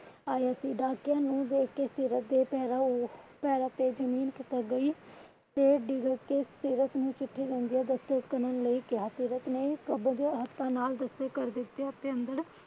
ਆਇਆ ਸੀ। ਡਾਕੀਆ ਨੂੰ ਵੇਖ ਕੇ ਪੈਰਾਂ ਤੇ ਜਮੀਨ ਖਿਸਕ ਗਈ ਉਹ ਕੇ ਸੀਰਤ ਨੂੰ ਚਿੱਠੀ ਦੇਕੇ ਦਸਖ਼ਤ ਕਰਨ ਲਈ ਕਿਹਾ। ਸੀਰਤ ਨੇ ਆਪਣੇ ਹੱਥਾਂ ਨਾਲ ਦਸਖ਼ਤ ਕਰ ਦਿਤੇ। ਅਤੇ ਅੰਦਰ